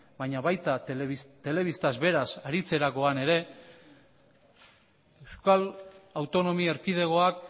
baina baita telebistaz beraz aritzerakoan ere euskal autonomi erkidegoak